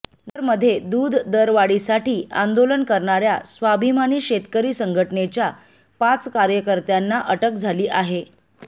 नगरमध्ये दूध दरवाढीसाठी आंदोलन करणाऱ्या स्वाभिमानी शेतकरी संघटनेच्या पाच कार्यकर्त्यांना अटक झाली आहे